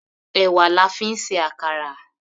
Èwà la fi ń ṣe àkàrà.